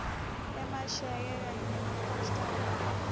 emasheke kanye nemapostal